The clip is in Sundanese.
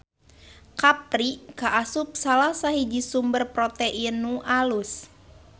Kapri kaasup salasahiji sumber protein nu alus.